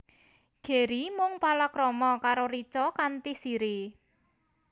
Gary mung palakrama karo Richa kanthi Siri